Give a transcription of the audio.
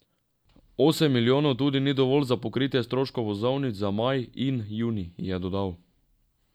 Osem milijonov tudi ni dovolj za pokritje stroškov vozovnic za maj in junij, je dodal.